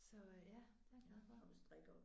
Så ja det er jeg glad for